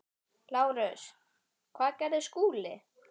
LÁRUS: Hvað gerði Skúli?